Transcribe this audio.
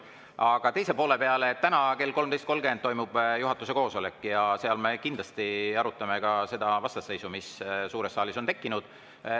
Aga teise poole kohta: täna kell 13.30 toimub juhatuse koosolek ja seal me kindlasti arutame ka seda vastasseisu, mis suures saalis on tekkinud.